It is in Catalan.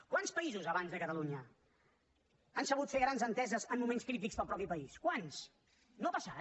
quants països abans de catalunya han sabut fer grans enteses en moments crítics per al mateix país quants no ha passat